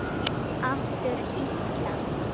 Aftur Ísland.